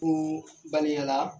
Ko balenyala